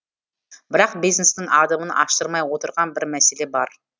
бірақ бизнестің адымын аштырмай отырған бір мәселе бар